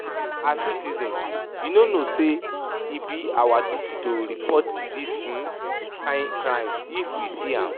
As citizen you no know say e be our duty to report dis um kyn crime if we see am?